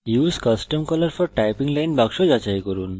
use custom colour for typing line box যাচাই করুন